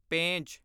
Pench